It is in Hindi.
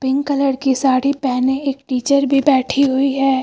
पिंक कलर की साड़ी पहने एक टीचर भी बैठी हुई है।